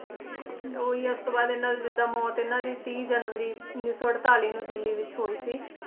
ਉਹੀ ਆ ਉਸਤੋਂ ਬਾਅਦ ਦੀ ਇਹਨਾਂ ਦੀ ਜਿੱਦਾ ਮੌਤ ਇਹਨਾਂ ਦੀ ਤੀਹ ਜਨਵਰੀ ਉੱਨੀ ਸੌ ਅੜਤਾਲੀ ਨੂੰ ਦਿੱਲੀ ਵਿੱਚ ਹੋਈ ਸੀ।